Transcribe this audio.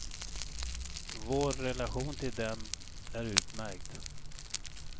Vår relation till dem är utmärkt.